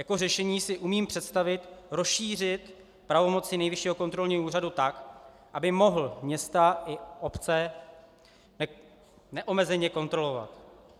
Jako řešení si umím představit rozšířit pravomoci Nejvyššího kontrolního úřadu tak, aby mohl města i obce neomezeně kontrolovat.